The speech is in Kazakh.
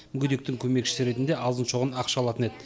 мүгедектің көмекшісі ретінде азын шоғын ақша алатын еді